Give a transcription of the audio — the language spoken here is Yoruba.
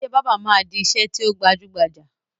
Ìṣe báábà máa di ìṣe tí ó gbajúgbajà